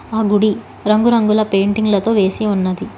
ఆ గుడి రంగురంగుల పెయింటింగ్ లతో వేసి ఉన్నది.